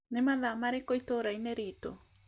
nĩ mathaa marĩkũ itũũra-inĩ riitũ